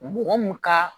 Mɔgɔ mun ka